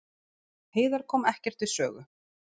Heiðar kom ekkert við sögu